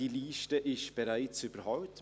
Diese Liste ist bereits überholt.